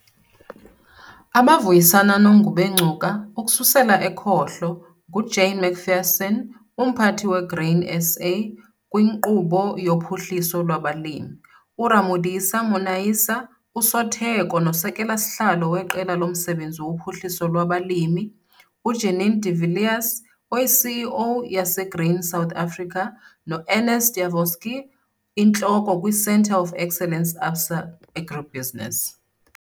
Abavuyisana noNgubengcuka, ukususela ekhohlo, nguJane McPherson, uMphathi weGrain SA - kwiNkqubo yoPhuhliso lwabaLimi, uRamodisa Monaisa, uSotheko noSekela-sihlalo weQela loMsebenzi woPhuhliso lwabaLimi, uJannie de Villiers, iCEO - yaseGrain SA, noErnst Janovsky, Intloko - kwiCentre of Excellence ABSA AgriBusiness.